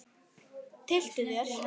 Tylltu þér.